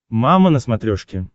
мама на смотрешке